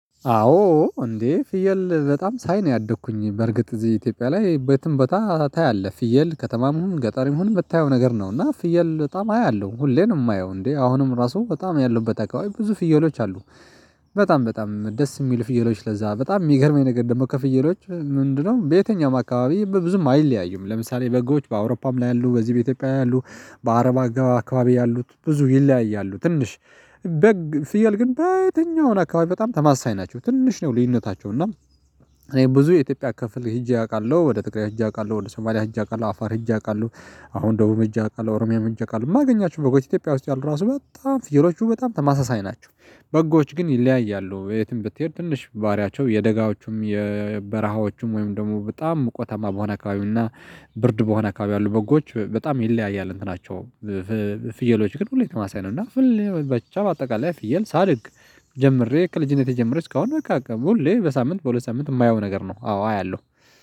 አዎ እንዴ ፍየል በጣም ሳይ ነው ያደኩኝ በርግጥ እዚህ ኢትዮጵያ ላይ በትም ቦታ ታያለህ። ፍየል ከተማም ገጣሪም ሁሉ የምታየው ነገር ነው እና ፍየል በጣም አያለሁ ሁሌም የማየው እንዴ አሁንም ራሱ በጣም ያለው በጣም ብዙ ፍየሎች አሉ። በጣም በጣም ደስ የሚል ፍየሎች ለዛ በጣም የሚገርመኝ ነገር ደግሞ ከፍየሎች ምንድነው በየትኛውም አካባቢ በብዙም አይለያዩም ለምሳሌ በጎች በአውሮፓም ላይ ያሉ በዚህ በኢትዮጵያ ያሉ በአረብ አካባቢ ያሉት ብዙ ይለያያሉ ትንሽ። በግ ፍየል ግን በትኛውን አካባቢ በጣም ተመሳሳይ ናቸው ትንሽ ነው ልዩነታቸው እና እኔ ብዙ የኢትዮጵያ ክፍል ሄጄ አውቃለሁ። ወደ ትግራይ ሄጄ አውቃለሁ፤ ወደ ሰማሊያ ሄጄ አውቃለሁ፤ አፋር ሄጄ አውቃለ፤ ሁ አሁን ደግሞ እጅ አውቃለሁ፤ ኦሮሚያ እጅ አውቃለሁ፤ የማገኛቸው በጎች ኢትዮጵያ ውስጥ ያሉ ራሱ በጣም ፍየሎቹ በጣም ተማሳሳይ ናቸው በጎዎች ግን ይለያያሉ የትም ብትሄድ ትንሽ ባሪያቸው የደጋዎቹም የበረሃዎቹም ወይም ደግሞ በጣም ሙቀታማ በሆነ አካባቢና ብርድ በሆነ አካባቢ ያሉ በጎች በጣም ይለያያል እንትን ናቸው። ፍየሎች ግን ሁሌም ተመሳሳይ ነው እና ብቻ በአጠቃላይ ፍየል ሳድግ ጀምሬ ከልጅነቴ ጀምሬ እስካሁን በቃ ሁሌ በሳምንት በሁለት ሳምንት የማየው ነገር ነው አዎ አያለሁ።